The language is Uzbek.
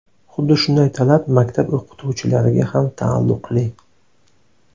Xuddi shunday talab maktab o‘qituvchilariga ham taalluqli.